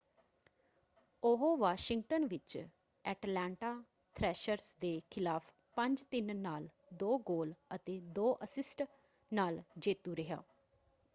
ਉਹ ਵਾਸ਼ਿੰਗਟਨ ਵਿੱਚ Atlanta Thrashers ਦੇ ਖਿਲਾਫ਼ 5-3 ਨਾਲ 2 ਗੋਲ ਅਤੇ 2 ਅਸਿਸਟ ਨਾਲ ਜੇਤੂ ਰਿਹਾ।